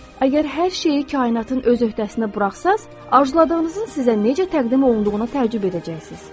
Əgər hər şeyi kainatın öz öhdəsinə buraxsaz, arzuladığınızın sizə necə təqdim olunduğunu təəccüb edəcəksiz.